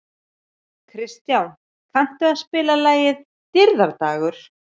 Kristján, kanntu að spila lagið „Dýrðardagur“?